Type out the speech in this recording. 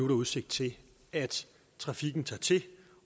der udsigt til at trafikken tager til